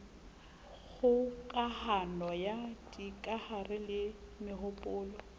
kgokahano ya dikahare le mehopolo